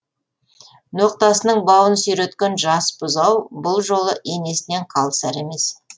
ноқтасының бауын сүйреткен жас бұзау бұл жолы енесінен қалысар емес